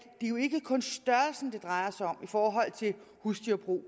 jo ikke kun er størrelsen det drejer sig om i forhold til husdyrbrug